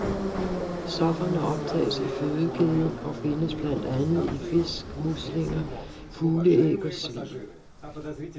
Stofferne optages i fødekæden og findes blandt andet i fisk, muslinger, fugleæg og svin.